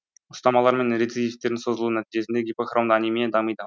ұстамалар мен рецидивтердің созылуы нәтижесінде гипохромды анемия дамиды